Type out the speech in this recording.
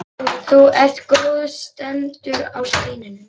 Þú ert góð, stendur á steininum.